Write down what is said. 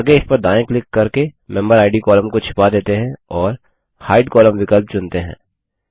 आगे इस पर दायाँ क्लिक करके मेम्बेरिड कॉलम को छिपा देते हैं और हाइड कोलम्न विकल्प चुनते हैं